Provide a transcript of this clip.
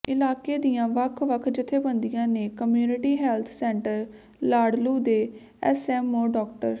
ਇਲਾਕੇ ਦੀਆਂ ਵੱਖ ਵੱਖ ਜਥੇਬੰਦੀਆਂ ਨੇ ਕਮਿਉਨਿਟੀ ਹੈਲਥ ਸੈਂਟਰ ਲਾਲੜੂ ਦੇ ਐਸਐਮਓ ਡਾ